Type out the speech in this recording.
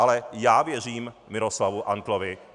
Ale já věřím Miroslavu Antlovi.